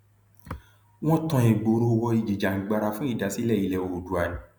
wọn tan ìgboro wò ìjìjàngbara fún ìdásílẹ ilẹ oòdùà ni